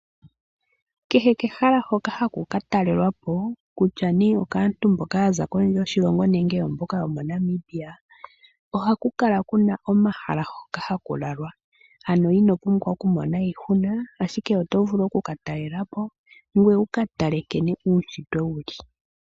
Kehe kehala hoka haku ka talelwapo, kutya nee okaantu mboka yaza kondje yoshilongo nenge oomboka yomoNamibia, ohaku kala kuna omahala hoka haku lalwa. Ano ino pumbwa okumona iihuna, ashike oto vulu okuka talelapo ngoye wuka tale nkene uunshitwe wuli.